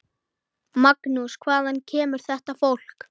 Magnús: Hvaðan kemur þetta fólk?